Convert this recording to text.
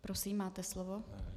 Prosím, máte slovo.